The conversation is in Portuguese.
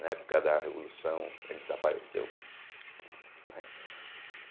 Na época da Revolução ele desapareceu, né.